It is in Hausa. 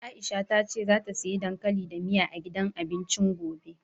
Aisha ta ce zata siya dankali da miya, a gidan abincin gobe.